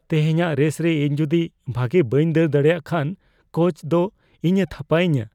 ᱛᱮᱦᱮᱧᱟᱜ ᱨᱮᱥ ᱨᱮ ᱤᱧ ᱡᱩᱫᱤ ᱵᱷᱟᱜᱮ ᱵᱟᱹᱧ ᱫᱟᱹᱲ ᱫᱟᱲᱮᱭᱟᱜ ᱠᱷᱟᱱ ᱠᱳᱪ ᱫᱤ ᱤᱧᱮ ᱛᱷᱟᱯᱟᱭᱤᱧᱟ ᱾